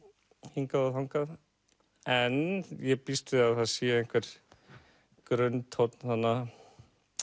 hingað og þangað en ég býst við að það sé einhver grunntónn þarna